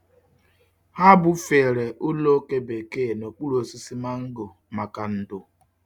Ha bufere ụlọ oke bekee n'okpuru osisi mango maka ndò.